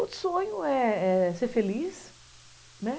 Outro sonho é ser feliz, né